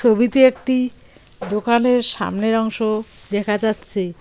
ছবিতে একটি দোকানের সামনের অংশ দেখা যাচ্ছে।